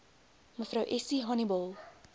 mev essie honiball